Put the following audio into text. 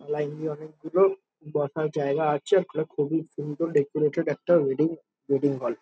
Line দিয়ে অনেক গুলো-ও বসার জায়গা আছে। একটা খুবই সুন্দর ডেকোরেটেড একটা ওয়েডিং ওয়েডিং হল ।